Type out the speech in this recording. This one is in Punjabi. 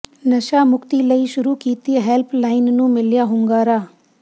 ਨਸ਼ਾ ਮੁਕਤੀ ਲਈ ਸ਼ੁਰੂ ਕੀਤੀ ਹੈਲਪ ਲਾਈਨ ਨੂੰ ਮਿਲਿਆ ਹੁੰਗਾਰਾ